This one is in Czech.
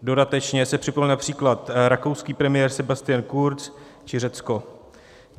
Dodatečně se připojil například rakouský premiér Sebastian Kurz či Řecko.